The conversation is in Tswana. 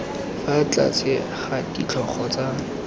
fa tlase ga ditlhogo tsa